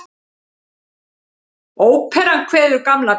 Óperan kveður Gamla bíó